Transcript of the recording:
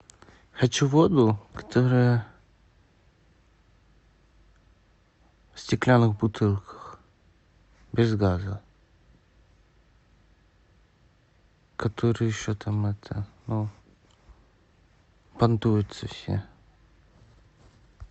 хочу воду которая в стеклянных бутылках без газа которая еще там это понтуются все